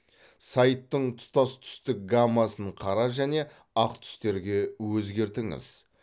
сайттың тұтас түстік гаммасын қара және ақ түстерге өзгертіңіз